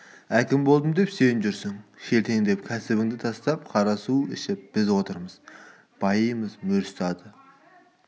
әкім болдым деп сен жүрсің шелтеңдеп кәсібіңді тастап қара су ішіп біз отырмыз байымыз мөр ұстады